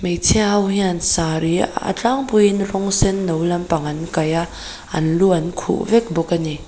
hmeichhia ho hian saree a tlangpuiin rawng senno lampang an kaiha an lu an khuh vek bawk a ni.